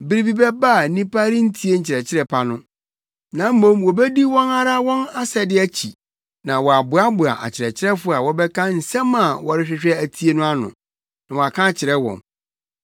Bere bi bɛba a nnipa rentie nkyerɛkyerɛ pa no, na mmom wobedi wɔn ara wɔn asɛde akyi na wɔaboaboa akyerɛkyerɛfo a wɔbɛka nsɛm a wɔrehwehwɛ atie no ano, na wɔaka akyerɛ wɔn.